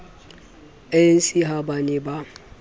anc ha ba ne ba